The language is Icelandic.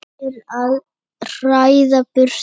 til að hræða burt dýr.